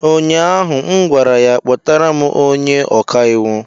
ụnyaahụ m gwara ya, kpọtara m onye ọka iwu!